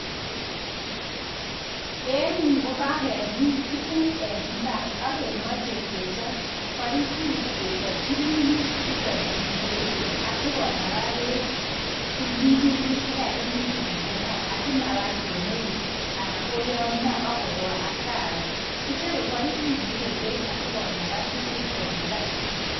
En yu ko ka kemin tuguk en imbar ak kemache kechap paiput ke chapchini irrigation asigonag peek tuminutik chekagimin asige bar kemeut anan ko yamya akowa hasara .